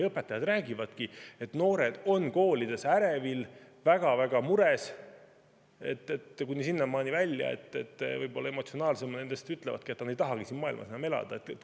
Õpetajad räägivadki, et noored on koolides ärevil, väga-väga mures, kuni sinnamaani välja, et võib-olla emotsionaalsemad nendest ütlevadki, et nad ei tahagi siin maailmas enam elada.